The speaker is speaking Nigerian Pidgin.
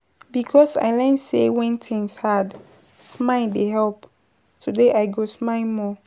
Because I learn sey wen tins hard, smile dey help, today I go smile more.